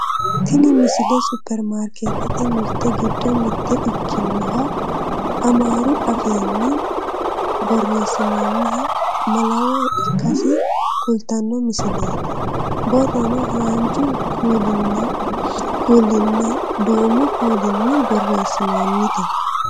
tini misile supperimarkeettete mirte giddo mitto ikkinoha amaaru afiinni borreessinooniha malawo ikkasi kultanno misileeti borrono haanju kuulinanni duumu kuulinni borreessinoonnite